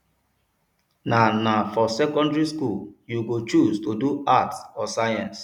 na na for secondary skool you go choose to do arts or science